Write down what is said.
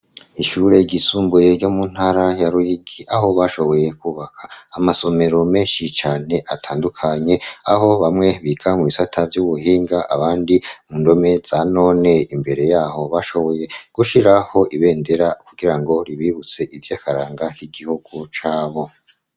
Ishure ryisumbuye ryo mu ntara ya Ruyigi aho bashoboye kubaka amasomero menshi cane atandukanye aho bamwe biga mu bisata vy'ubuhinga abandi mu ndome za none imbere yaho bashoboye gushiraho ibendera kugira ngo ribibutse ivyakaranga k'igihugu cabo.